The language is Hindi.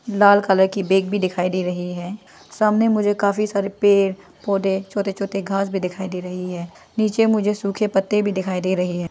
लाल कलर की बैग भी दिखाई दे रही है सामने मुझे काफी सारे पेड़ पौधे छोटे छोटे घास भी दिखाई दे रही है नीचे मुझे सूखे पत्ते भी दिखाई दे रही है।